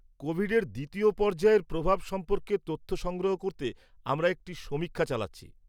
কোভিডের দ্বিতীয় পর্যায়ের প্রভাব সম্পর্কে তথ্য সংগ্রহ করতে আমরা একটি সমীক্ষা চালাচ্ছি।